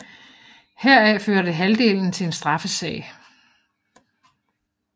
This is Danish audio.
Heraf førte halvdelen til en straffesag